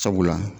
Sabula